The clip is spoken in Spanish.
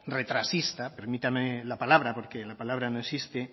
retrasista permítame la palabra porque la palabra no existe